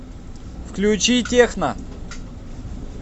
включи техно